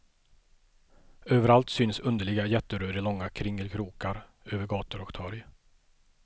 Överallt syns underliga jätterör i långa kringelkrokar över gator och torg.